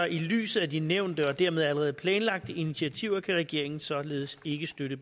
i lyset af de nævnte og dermed allerede planlagte initiativer kan regeringen således ikke støtte